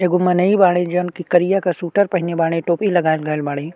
एगो मनीय बाड़े जोवन की करिया के सूटर पहिनले बाड़े। टोपी लगा गईल बाड़े।